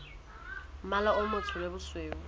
mmala o motsho le bosweu